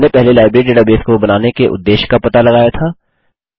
हमने पहले library database को बनाने के उद्देश्य का पता लगाया था